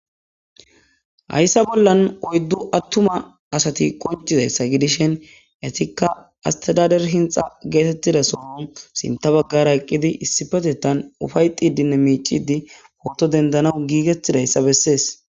Hayssa bollan oyddu attuma asati qonccizayssa gidishIn etikka astadadare hinxxa geetettida sohon sinta baggara eqqidi issipetetan ufayttidinne miicciddi pooto dendana giigettidayssa bessees.